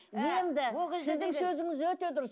енді сіздің сөзіңіз өте дұрыс